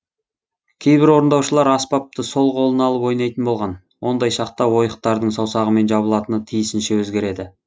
кейбір орындаушылар аспапты сол қолына алып ойнайтын болған ондай шақта ойықтардың саусағымен жабылатыны тиісінше өзгереді